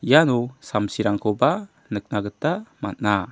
iano samsirangkoba nikna gita man·a.